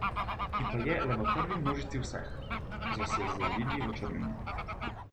Ki pa je le prvi v množici vseh, ki so se zavili v črnino.